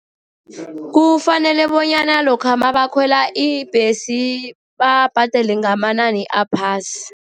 Kufanele bonyana lokha nabakhwela ibhesi, babhadele ngamanani aphasi.